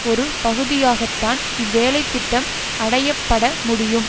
ஒரு பகுதியாகத்தான் இவ்வேலைத்திட்டம் அடைய பட முடியும்